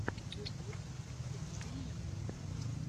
ютуб лорен грэй